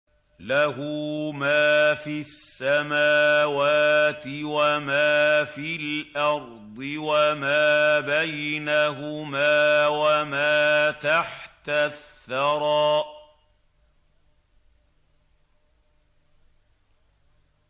لَهُ مَا فِي السَّمَاوَاتِ وَمَا فِي الْأَرْضِ وَمَا بَيْنَهُمَا وَمَا تَحْتَ الثَّرَىٰ